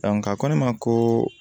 a ko ne ma ko